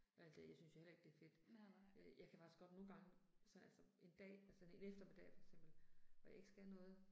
Alt det, jeg synes jo heller ikke det er fedt. Øh jeg kan faktisk godt nogle gange så altså en dag, altså en en eftermiddag for eksempel hvor jeg ikke skal noget